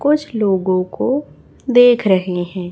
कुछ लोगों को देख रहे हैं।